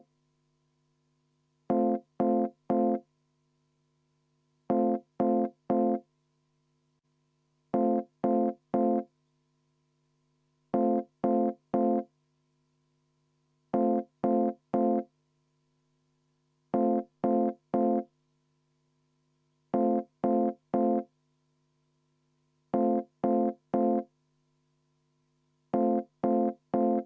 Aga tõepoolest, Eesti Konservatiivse Rahvaerakonna fraktsiooni nimel palun seda 17. ettepanekut hääletada ja ka toetada.